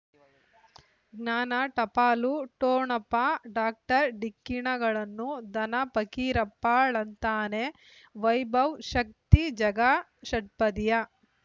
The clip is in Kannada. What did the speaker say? ಜ್ಞಾನ ಟಪಾಲು ಠೊಣಪ ಡಾಕ್ಟರ್ ಢಿಕ್ಕಿ ಣಗಳನು ಧನ ಪಕೀರಪ್ಪ ಳಂತಾನೆ ವೈಭವ್ ಶಕ್ತಿ ಝಗಾ ಷಟ್ಪದಿಯ